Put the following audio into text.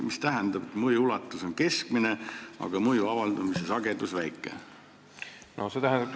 Mida see tähendab, et mõju ulatus on keskmine, aga mõju avaldumise sagedus väike?